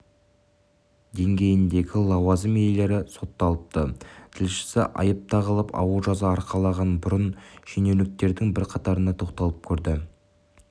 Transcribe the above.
деңгейіндегі лауазым иелері сотталыпты тілшісі айып тағылып ауыр жаза арқалаған бұрынғы шенеуніктердің бірқатарына тоқталып көрді